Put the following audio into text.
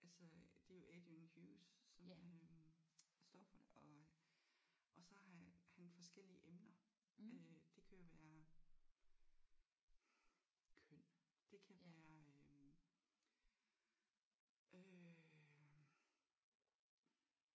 Altså det er jo Adrian Hughes som øh står for det og og så har han forskellige emner øh det kan jo være køn det kan være øh øh